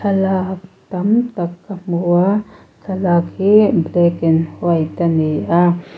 thlalak tam tak ka hmu a thlalak hi black and white ani a.